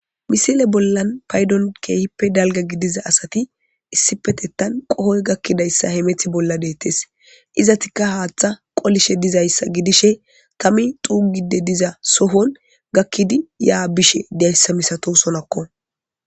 Misile bollan paydon keehippe dalga gidiza asati issipetettan qohoy gakkidayssa he meth bolla deettes izatikka haaththa qolishe dizayssa gidishe kami xuugide diza sohon gakkidi yaa bishe dayssa misato sonakko.